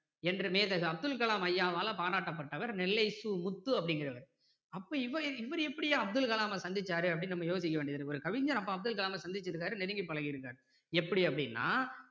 என்று மேதகு அப்துல் கலாம் ஐயாவால பாராட்டப்பட்டவர் நெல்லை சு முத்து அப்படிங்கிறவரு அப்போ இவரு எப்படி அப்துல் கலாம சந்திச்சாரு அப்படின்னு நம்ம யோசிக்க வேண்டியது இருக்கு ஒரு கவிஞர் அப்போ அப்துல் கலாம் சந்திச்சிருக்காரு நெருங்கி பழகி இருக்காரு எப்படி அப்படின்னா